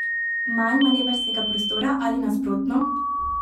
Manj maneverskega prostora ali nasprotno?